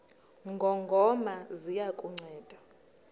ngongoma ziya kukunceda